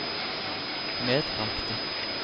medbragte